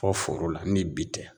Fɔ foro la ni bi tɛ.